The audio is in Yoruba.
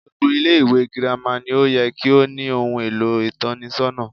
Gbogbo Ilé ìwé girama ni ó ye kí ó ní ohun èlò ìtónisónà